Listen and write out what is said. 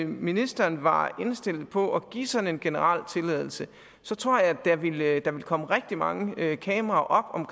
ministeren var indstillet på at give sådan en generel tilladelse tror jeg at der ville komme rigtig mange kameraer